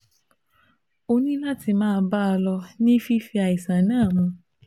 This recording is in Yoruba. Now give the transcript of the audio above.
ó ní láti máa bá a lọ ní fífi àìsàn náà mu